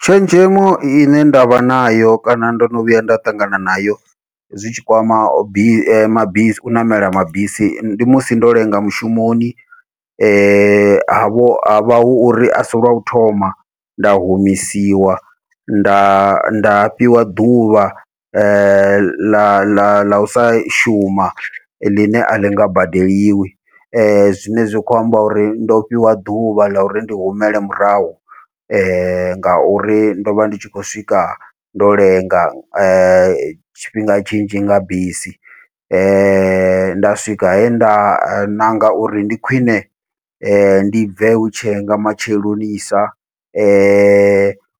Tshenzhemo ine ndavha nayo kana ndo no vhuya nda ṱangana nayo, zwitshi kwama bisi mabisi u ṋamela mabisi ndi musi ndo lenga mushumoni, havho havha hu uri asi lwa u thoma nda humisiwa nda nda fhiwa ḓuvha ḽa ḽa ḽa ḽa usa shuma ḽine aḽi nga badeliwi, zwine zwi kho amba uri ndo fhiwa ḓuvha ḽa uri ndi humele murahu. Ngauri ndovha ndi tshi khou swika ndo lenga tshifhinga tshinzhi nga bisi nda swika henda ṋanga uri ndi khwiṋe ndi bve hutshe nga matshelonisa,